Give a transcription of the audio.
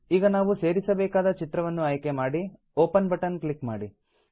ಈಗ ನಾವು ಸೇರಿಸಬೇಕಾದ ಚಿತ್ರವನ್ನು ಆಯ್ಕೆ ಮಾಡಿ ಒಪೆನ್ ಬಟನ್ ಕ್ಲಿಕ್ ಮಾಡಿ